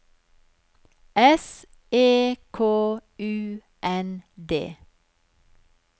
S E K U N D